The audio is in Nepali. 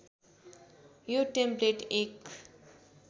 यो टेम्प्लेट एक